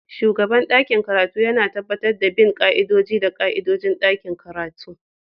Shugaban ɗakin karatu yana tabbatar da bin ƙa'idodi da ƙa'idodin ɗakin karatu